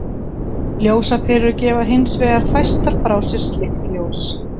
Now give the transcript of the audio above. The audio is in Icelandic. Ljósaperur gefa hins vegar fæstar frá sér slíkt ljós.